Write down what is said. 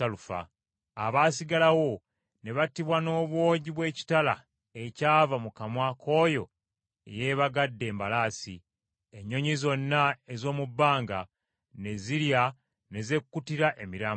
Abaasigalawo ne battibwa n’obwogi bw’ekitala ekyava mu kamwa k’oyo eyeebagadde embalaasi. Ennyonyi zonna ez’omu bbanga ne zirya ne zekkutira emirambo gyabwe.